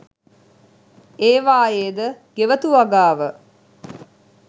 ඒවායේ ද ගෙවතු වගාව